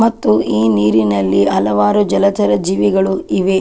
ಮತ್ತು ಈ ನೀರಿನಲ್ಲಿ ಹಲವಾರು ಜಲಚರ ಜೀವಿಗಳು ಇವೆ .